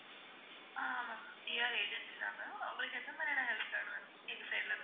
ஆஹ் ஆமா ma'amPR agency தான் ma'am உங்களுக்கு என்ன மாதிரியான help வேணும் எங்க side ல இருந்து?